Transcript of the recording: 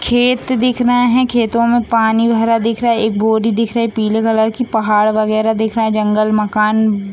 खेत दिख रहा है खेतों में पानी भरा दिख रहा है एक बोरी दिख रही है पीले कलर की पहाड़ वैगरह दिख रहे जंगल मकान --